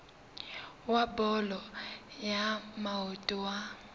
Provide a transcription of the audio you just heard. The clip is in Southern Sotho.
wa bolo ya maoto wa